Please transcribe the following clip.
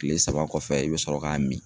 Tile saba kɔfɛ, i bɛ sɔrɔ k'a min.